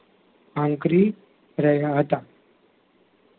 આંક્રી રહ્યાં હતાં